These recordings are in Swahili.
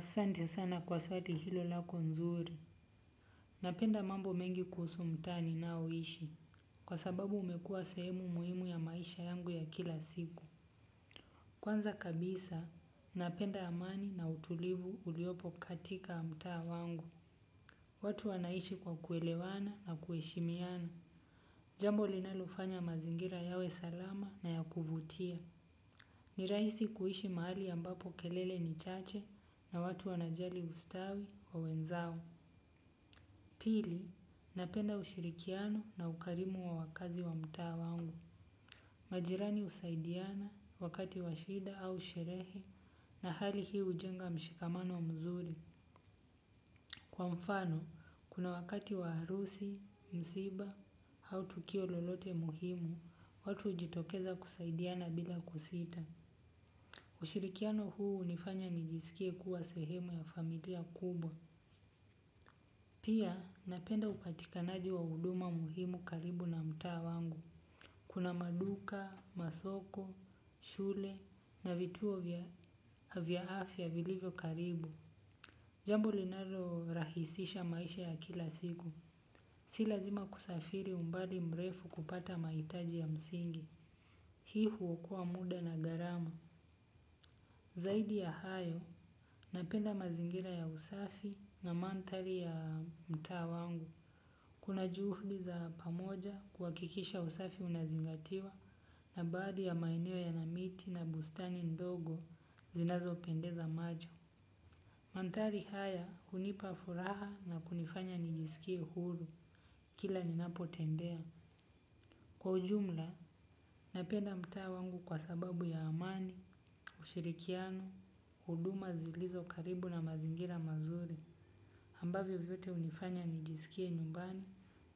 Sante sana kwa swali hilo lako nzuri. Napenda mambo mengi kuusu mtaa ninaoishi. Kwa sababu umekua seemu muhimu ya maisha yangu ya kila siku. Kwanza kabisa, napenda amani na utulivu uliopo katika mtaa wangu. Watu wanaishi kwa kuelewana na kuheshimiana. Jambo linalufanya mazingira yawe salama na ya kuvutia. Niraisi kuishi maali ambapo kelele ni chache na watu wanajali ustawi wa wenzao. Pili, napenda ushirikiano na ukarimu wa wakazi wa mtaa wangu. Majirani usaidiana wakati washida au sherehe na hali hii ujenga mshikamano mzuri. Kwa mfano, kuna wakati wa harusi, msiba au tukio lolote muhimu, watu ujitokeza kusaidiana bila kusita. Ushirikiano huu unifanya nijisikie kuwa sehemu ya familia kubwa. Pia napenda upatikanaji wa uduma muhimu karibu na mtaa wangu. Kuna maduka, masoko, shule na vituo vya afya vilivyo karibu. Jambo linalo rahisisha maisha ya kila siku. Si lazima kusafiri umbali mrefu kupata maitaji ya msingi. Hii huokoa muda na garama. Zaidi ya hayo napenda mazingira ya usafi na mandhari ya mtaa wangu. Kuna juhudi za pamoja kuakikisha usafi unazingatiwa na baadhi ya maeneo yana miti na bustani ndogo zinazo pendeza majo. Mandhari haya hunipa furaha na kunifanya nijisikie huru kila ninapo tembea. Kwa ujumla, napenda mtaa wangu kwa sababu ya amani, ushirikiano, huduma zilizo karibu na mazingira mazuri. Ambavyo vyote hunifanya nijiskie nyumbani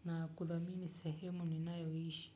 na kudhamini sehemu ninayo ishi.